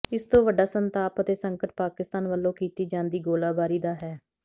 ਇਸ ਤੋਂ ਵੱਡਾ ਸੰਤਾਪ ਅਤੇ ਸੰਕਟ ਪਾਕਿਸਤਾਨ ਵੱਲੋਂ ਕੀਤੀ ਜਾਂਦੀ ਗੋਲੀਬਾਰੀ ਦਾ ਹੈ